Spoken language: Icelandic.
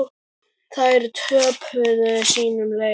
Þær töpuðu sínum leik.